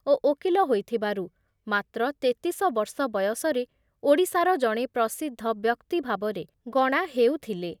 ଓ ଓକିଲ ହୋଇଥିବାରୁ ମାତ୍ର ତେତିଶ ବର୍ଷ ବୟସରେ ଓଡ଼ିଶାର ଜଣେ ପ୍ରସିଦ୍ଧ ବ୍ୟକ୍ତି ଭାବରେ ଗଣା ହେଉଥିଲେ ।